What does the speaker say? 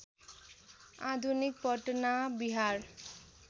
आधुनिक पटना बिहार